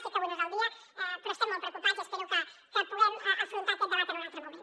sé que avui no és el dia però n’estem molt preocupats i espero que puguem afrontar aquest debat en un altre moment